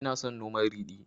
Ina son noman ridi